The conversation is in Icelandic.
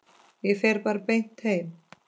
Ég fer bara beint heim.